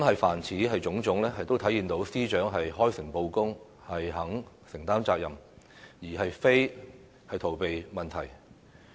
凡此種種，都體現出司長開誠布公，願意承擔責任，而非逃避問題。